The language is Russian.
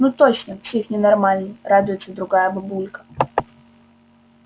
ну точно псих ненормальный радуется другая бабулька